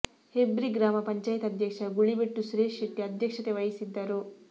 ಹೆಬ್ರಿ ಗ್ರಾಮ ಪಂಚಾಯಿತಿ ಅಧ್ಯಕ್ಷ ಗುಳಿಬೆಟ್ಟು ಸುರೇಶ ಶೆಟ್ಟಿ ಅಧ್ಯಕ್ಷತೆ ವಹಿಸಿದ್ದರು